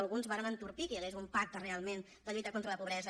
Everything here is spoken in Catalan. alguns varen entorpir que hi hagués un pacte realment de lluita contra la pobresa